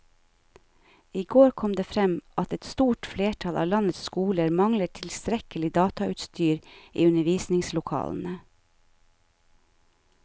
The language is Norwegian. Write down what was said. I går kom det frem at et stort flertall av landets skoler mangler tilstrekkelig datautstyr i undervisningslokalene.